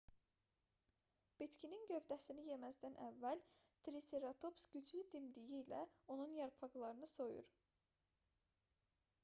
bitkinin gövdəsini yeməzdən əvvəl triseratops güclü dimdiyi ilə onun yarpaqlarını soyur